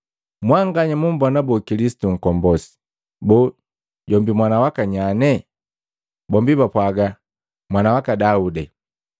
“Mwanganya mumbona boo, Kilisitu Nkombosi? Boo, jombi mwana waka nyanye?” Bombi bapwaga, “Mwana waka Daude.”